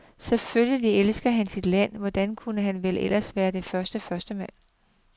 Selvfølgelig elsker han sit land, hvordan kunne han vel ellers være dets førstemand?